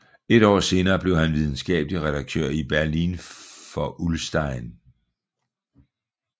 Et år senere blev han videnskabelig redaktør i Berlin for Ullstein